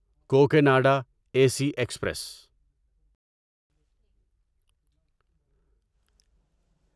Cocanada A C express